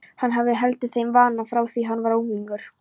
Hann hafði haldið þeim vana frá því hann var unglingur.